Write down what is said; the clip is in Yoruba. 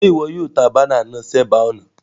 Sé wo yio banner náà sébàá ònà